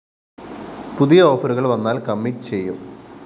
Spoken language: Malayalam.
പുതിയ ഓഫറുകള്‍ വന്നാല്‍ കമ്മിറ്റ്‌ ചെയ്യും